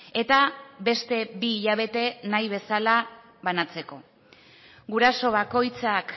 eta beste bi hilabete nahi bezala banatzeko guraso bakoitzak